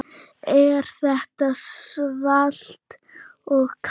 Er þetta svalt og kalt?